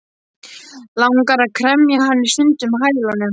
Langar að kremja hann í sundur með hælunum.